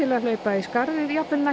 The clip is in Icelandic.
að hlaupa í skarðið jafnvel næstu